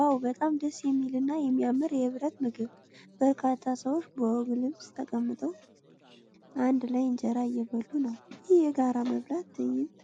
ዋው! በጣም ደስ የሚል እና የሚያምር የኅብረት ምግብ! በርካታ ሰዎች በወግ ልብስ ተቀምጠው፣ አንድ ላይ እንጀራ እየበሉ ነው። ይህ የጋራ መብላት ትዕይንት